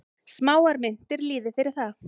Smáar myntir lýði fyrir það.